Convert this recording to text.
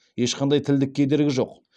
ешқандай тілдік кедергі жоқ